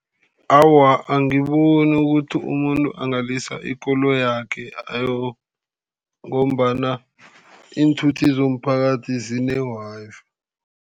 Awa, angiboni ukuthi umuntu angalisa ikoloyakhe ngombana iinthuthi zomphakathi zine-Wi-Fi.